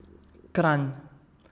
Kranj.